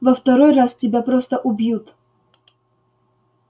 во второй раз тебя просто убьют